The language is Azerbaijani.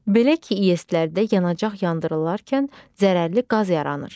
Belə ki, İES-lərdə yanacaq yandırılarkən zərərli qaz yaranır.